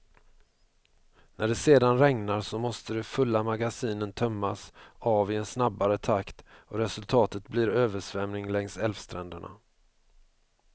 När det sedan regnar, så måste de fulla magasinen tömmas av i en snabbare takt och resultatet blir översvämning längs älvstränderna.